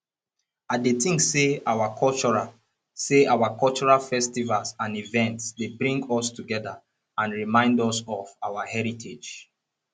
i dey think say our cultural say our cultural festivals and events dey bring us together and remind us of our heritage